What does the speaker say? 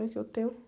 que eu tenho?